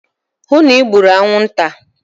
hụ na e gburu anwụnta!